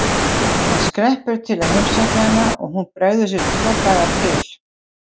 Hann skreppur til að heimsækja hana og hún bregður sér tvo daga til